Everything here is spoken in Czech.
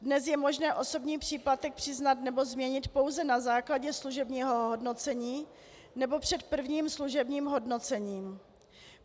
Dnes je možné osobní příplatek přiznat nebo změnit pouze na základě služebního hodnocení nebo před prvním služebním hodnocením.